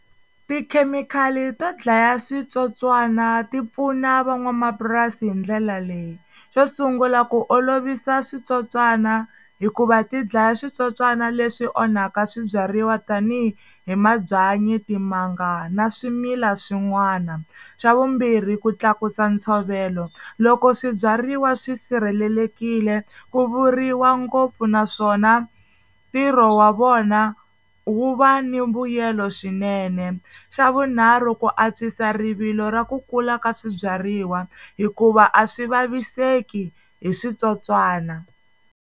Tikhemikhali to dlaya switsotswana ti pfuna van'wamapurasi hi ndlela leyi, xo sungula ku olovisa switsotswana hikuva ti dlaya switsotswani leswi onhaka swibyariwa tanihi hi mabyanyi timanga na swimila swin'wana, swa vumbirhi ku tlakusa ntshovelo loko swibyariwa swi sirhelelekile ku vuriwa ngopfu naswona ntirho wa vona wu va ni mbuyelo swinene, xa vunharhu ku antswisa rivilo ra ku kula ka swibyariwa hikuva a swi vaviseki hi switsotswana.